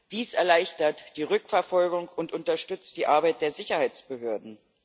Dies erleichtert die Rückverfolgung und unterstützt die Arbeit der Sicherheitsbehörden.